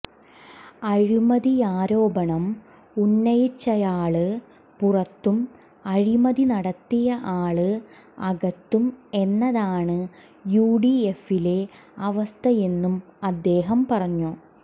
അഴിമതിയാരോപണം ഉന്നയിച്ചയാള് പുറത്തും അഴിമതി നടത്തിയ ആള് അകത്തും എന്നതാണ് യു ഡി എഫിലെ അവസ്ഥയെന്നും അദ്ദേഹം പറഞ്ഞു